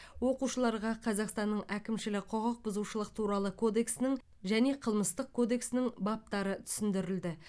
оқушыларға қазақстанның әкімшілік құқық бұзушылық туралы кодексінің және қылмыстық кодексінің баптары түсіндірілді